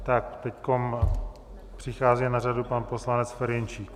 Tak teď přichází na řadu pan poslanec Ferjenčík.